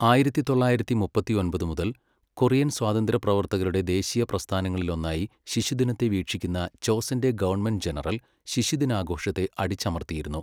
ആയിരത്തി തൊള്ളായിരത്തി മുപ്പത്തിയൊമ്പത് മുതൽ, കൊറിയൻ സ്വാതന്ത്ര്യ പ്രവർത്തകരുടെ ദേശീയപ്രസ്ഥാനങ്ങളിലൊന്നായി ശിശുദിനത്തെ വീക്ഷിക്കുന്ന ചോസെന്റെ ഗവൺമെൻറ് ജനറൽ ശിശുദിനാഘോഷത്തെ അടിച്ചമർത്തിയിരുന്നു.